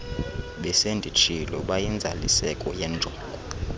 besenditshilo bayinzaliseko yenjongo